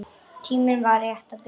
Tíminn var rétt að byrja.